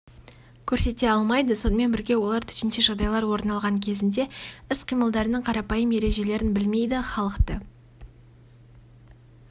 көрсете алмайды сонымен бірге олар төтенше жағдайлар орын алған кезінде іс-қимылдардың қарапайым ережелерін білмейді халықты